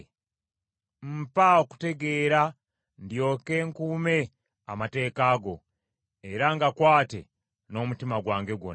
Mpa okutegeera ndyoke nkuume amateeka go era ngakwate n’omutima gwange gwonna.